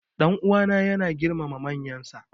Dan uwana yana girmama manyansa.